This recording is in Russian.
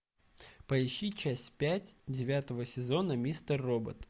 поищи часть пять девятого сезона мистер робот